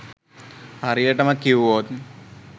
හරියටම කිව්වොත්